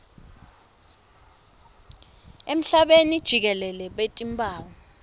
emhlabeni jikelele batimphawu